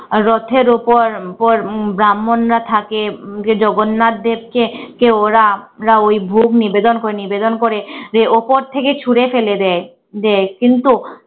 রথের উপর উপর ব্রাহ্মণরা থাকে যে জগন্নাথদেরকে কে ওরা রা ঐ ভোগ নিবেদন করে নিবেদন করে যে উপর থেকে ছুড়ে ফেলে দেয় দেয়। কিন্তু